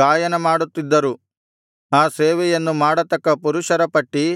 ಗಾಯನಮಾಡುತ್ತಿದ್ದರು ಆ ಸೇವೆಯನ್ನು ಮಾಡತಕ್ಕ ಪುರುಷರ ಪಟ್ಟಿ